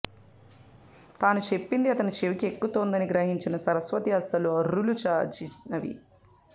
తాను చెప్పింది అతని చెవికి ఎక్కుతోందని గ్రహించిన సరస్వతి ఆశలు అర్రులు జాచినవి